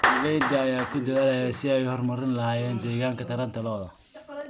Beeralayda ayaa ku dadaalaya sidii ay u horumarin lahaayeen deegaanka taranta lo'da.